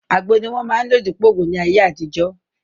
Àgbo ni wọ́n máa ń lò dípòo ògùn ní ayé àtijọ́